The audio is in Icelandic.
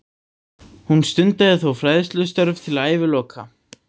Hún stundaði þó fræðistörf til æviloka.